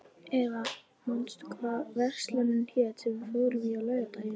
Eva, manstu hvað verslunin hét sem við fórum í á laugardaginn?